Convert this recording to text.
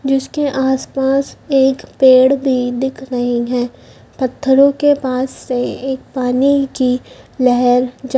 जिसके आसपास एक पेड़ भी दिख रहे हैं पत्थरो के पास से एक पानी की लहर जा--